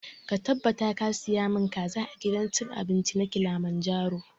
Ka tabbata ka saya mun kaza a gidan cin abinci na kilimanjaro!